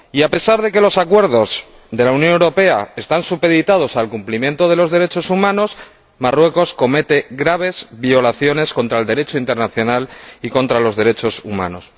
Y, a pesar de que los acuerdos de la Unión Europea están supeditados al cumplimiento de los derechos humanos, Marruecos comete graves violaciones del Derecho internacional y de los derechos humanos.